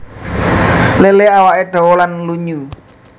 Lélé awake dawa lan lunyu